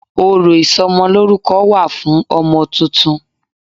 Ọ̀rọ̀ ìsọmọlórúko wà fún ọmọ titun